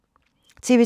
TV 2